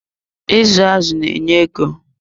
Izu azụ na enye ego.